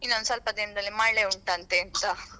ಇನ್ನೊಂದುಸ್ವಲ್ಪ ದಿನದಲ್ಲಿ ಮಳೆ ಉಂಟಂತೆ ಅಂತ.